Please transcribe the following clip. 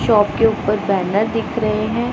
Shop के ऊपर banner दिख रहे हैं।